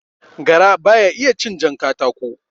Gara baya iya cin jan katako